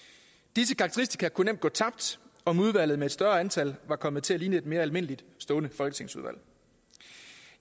disse karakteristika kunne nemt gå tabt om udvalget med et større antal var kommet til at ligne et mere almindeligt stående folketingsudvalg